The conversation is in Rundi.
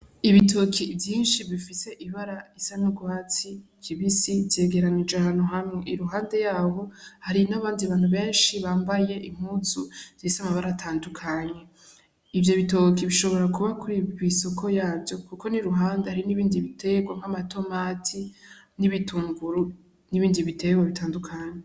Ibitoki vyinshi bifise ibara isa n'urwatsi kibisi vyegeranije ahantu hamwe iruhande yaho hari n'abandi bantu benshi bambaye impuzu zifise amabara atandukanye, ivyo bitoki bishobora kuba kw'isoko yavyo, kuko n'iruhande hari n'ibindi biterwa nk'amatomati n'ibitunguru n'ibindi biterwa bitandukanye.